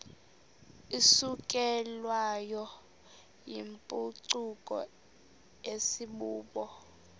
isukelwayo yimpucuko asibubo